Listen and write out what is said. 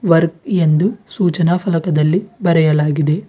Work ಎಂದು ಸೂಚನಾ ಫಲಕದಲ್ಲಿ ಬರೆಯಲಾಗಿದೆ.